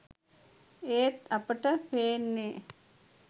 ඒත් අපිට පේන්නෙ